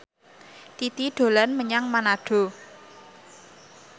Titi dolan menyang Manado